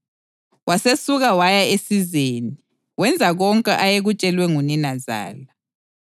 Wasesuka waya esizeni, wenza konke ayekutshelwe nguninazala.